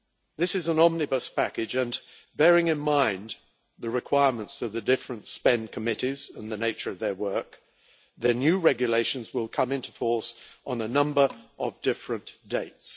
This is an omnibus package and, bearing in mind the requirements of the different spend committees and the nature of their work, the new regulations will come into force on a number of different dates.